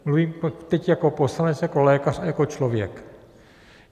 Mluvím teď jako poslanec, jako lékař a jako člověk.